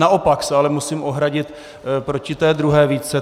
Naopak se ale musím ohradit proti té druhé výtce.